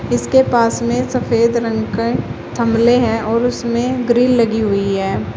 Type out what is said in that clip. उसके पास में सफेद रंग के थमले हैं और उसमें ग्रील लगी हुई है।